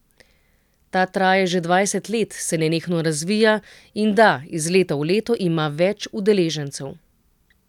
Ta traja že dvajset let, se nenehno razvija, in da, iz leta v leto ima več udeležencev.